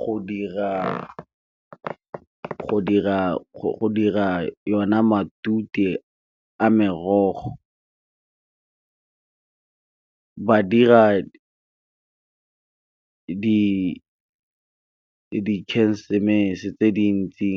go dira go dira yona matute a merogo, ba dira dikhensemese tse dintsi